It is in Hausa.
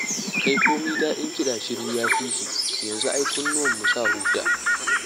Kai komi daɗin kiɗa shiru ya fi shi, yanzu ai kunnuwanmu sa huta.